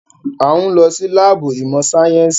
A ń lọ sí láàbù ìmọ̀ sáyẹ́nsì.